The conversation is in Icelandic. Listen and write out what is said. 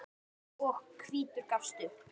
og hvítur gafst upp.